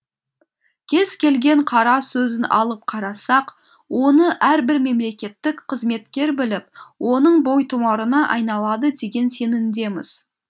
кез келген қара сөзін алып қарасақ оны әрбір мемлекеттік қызметкер біліп оның бойтұмарына айналады деген сенімдеміз